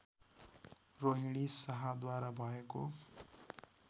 रोहिणी शाहद्वारा भएको